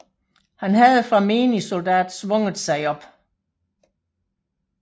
Han havde fra menig soldat svunget sig op